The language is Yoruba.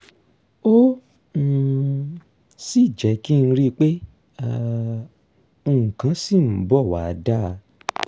ó um sì jẹ́ kí n rí i pé um nǹkan ṣì ń bọ̀ wá dáa